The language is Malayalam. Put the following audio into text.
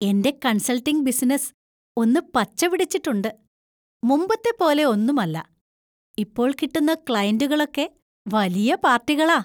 എൻ്റെ കൺസൾട്ടിംഗ് ബിസിനസ്സ് ഒന്ന് പച്ചപിടിച്ചിട്ടുണ്ട്. മുമ്പത്തെ പോലെ ഒന്നും അല്ല; ഇപ്പോൾ കിട്ടുന്ന ക്ലയന്‍റുകളൊക്കെ വലിയ പാർട്ടികളാ.